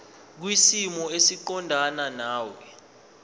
kwisimo esiqondena nawe